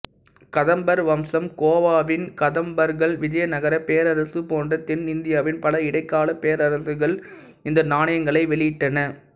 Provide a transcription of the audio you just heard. கதம்பர் வம்சம் கோவாவின் கதம்பர்கள் விஜயநகரப் பேரரசு போன்ற தென்னிந்தியாவின் பல இடைக்கால பேரரசுகள் இந்த நாணயங்களை வெளியிட்டன